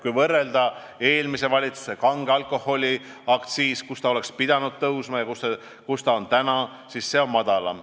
Kui võrrelda eelmise valitsuse plaanitud kange alkoholi aktsiisi tänase aktsiisimääraga, siis näeme, et praegune määr on madalam.